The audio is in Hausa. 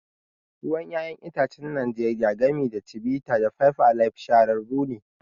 Ruwan 'ya'yan itacen Najeriya, gami da Chivita da Five Alive, shahararrun ne.